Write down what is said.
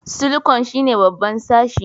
Silikon shine babban sashi